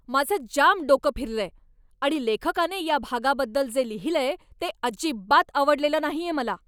माझं जाम डोकं फिरलंय आणि लेखकाने या भागाबद्दल जे लिहिलंय ते अजिबात आवडलेलं नाहीये मला.